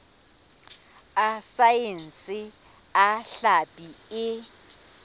a saense a hlapi e